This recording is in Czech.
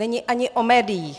Není ani o médiích.